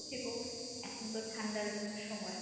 থেকো এখন তো ঠান্ডার সময়।